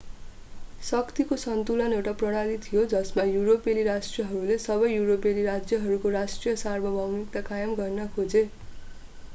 शक्तिको सन्तुलन एउटा प्रणाली थियो जसमा युरोपेली राष्ट्रहरूले सबै युरोपेली राज्यहरूको राष्ट्रिय सार्वभौमिकता कायम गर्न खोजे